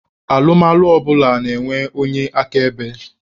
Alụmalụ ọbụla na-enwe onye akaebe.